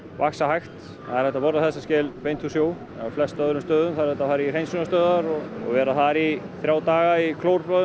vaxa hægt það er hægt að borða þessa skel beint úr sjó á flestum öðrum stöðum þarf þetta að fara í hreinsunarstöðvar og vera þar í þrjá daga í